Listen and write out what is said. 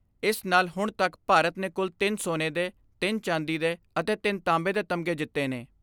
ਇਸ ਨਾਲ ਹੁਣ ਤੱਕ ਭਾਰਤ ਨੇ ਕੁਲ ਤਿੰਨ ਸੋਨੇ ਦੇ, ਤਿੰਨ ਚਾਂਦੀ ਦੇ ਅਤੇ ਤਿੰਨ ਤਾਂਬੇ ਦੇ ਤਮਗੇ ਜਿੱਤੇ ਨੇ।